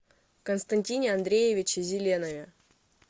константине андреевиче зеленове